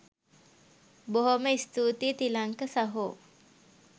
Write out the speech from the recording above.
බොහොම ස්තූතියි තිලංක සහෝ